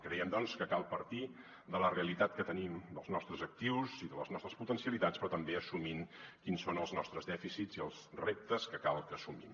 creiem doncs que cal partir de la realitat que tenim dels nostres actius i de les nostres potencialitats però també assumint quins són els nos·tres dèficits i els reptes que cal que assumim